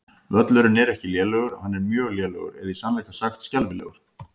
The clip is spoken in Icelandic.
Völlurinn er ekki lélegur, hann er mjög lélegur eða í sannleika sagt skelfilegur.